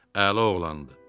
Əla oğlandı.